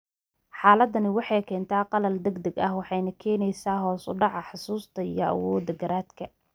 Xaaladdani waxay keentaa qallal degdeg ah waxayna keenaysaa hoos u dhaca xusuusta iyo awoodda garaadka.